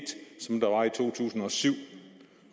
to tusind og syv